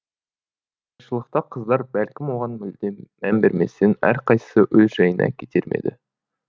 шылықта қыздар бәлкім оған мүлде мән берместен әрқайсысы өз жайына кетер ме еді